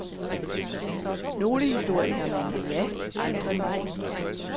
Nogle historikere mener ja, andre nej.